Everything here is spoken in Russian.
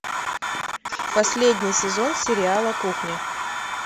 последний сезон сериала кухня